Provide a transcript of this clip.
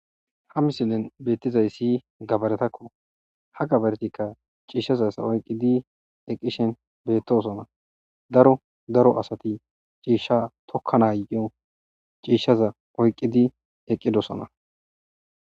Ha misillen beettizay siy gabaretakko ha gabaretikka ciishshazasa oyqqidi eqqishen beettosona daro daro asati ciishsha tokka nayo ciishshaza oyqqidi eqqidosona.